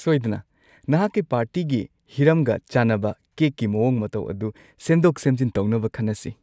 ꯁꯣꯏꯗꯅ! ꯅꯍꯥꯛꯀꯤ ꯄꯥꯔꯇꯤꯒꯤ ꯍꯤꯔꯝꯒ ꯆꯥꯟꯅꯕ ꯀꯦꯛꯀꯤ ꯃꯑꯣꯡ ꯃꯇꯧ ꯑꯗꯨ ꯁꯦꯝꯗꯣꯛ-ꯁꯦꯝꯖꯤꯟ ꯇꯧꯅꯕ ꯈꯟꯅꯁꯤ ꯫